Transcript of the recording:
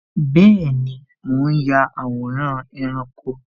Bẹẹni, mo ń ya àwòrán ẹranko